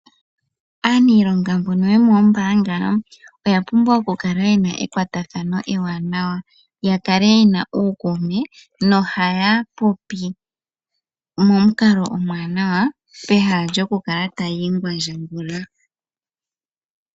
Aaniilonga mbono yomoombaanga oya pumbwa oku kala yena ekwatathano ewanawa, ya kale yena uukuume, nohaya popi momukalo omuwanawa, pehala lyo kukala taya ingwandjagula.